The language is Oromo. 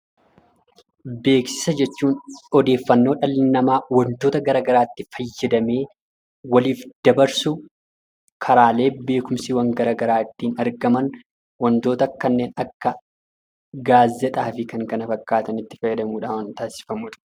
Beeksisa jechuun odeeffannoo dhalli namaa wantoota gara garaatti fayyadamee waliif dabarsu, karaalee beekumsi gara garaa ittiin argaman, wantoota akka gaazexaa fi kan kana fakkaatanitti fayyadamuudhaan taasifamudha.